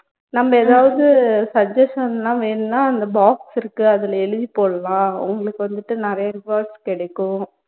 நம்ப எதாவது suggestion னா வேணும்னா அந்த box இருக்கு அதுல எழுதி போடலாம் உங்களுக்கு வந்துட்டு நிறைய rewards கிடைக்கும்